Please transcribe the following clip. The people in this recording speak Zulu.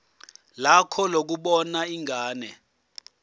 lakho lokubona ingane